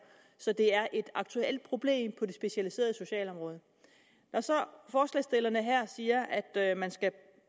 så det er et aktuelt problem på det specialiserede socialområde når forslagsstillerne så her siger at man skal